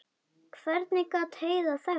Hvernig gat Heiða þekkt hann?